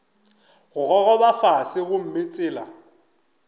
go gogoba fase gomme tsela